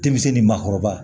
Denmisɛn ni maakɔrɔba